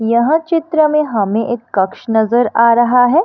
यह चित्र में हमें एक कक्ष नजर आ रहा है।